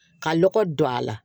Ka lɔgɔ don a la